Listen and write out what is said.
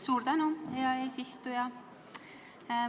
Suur tänu, hea eesistuja!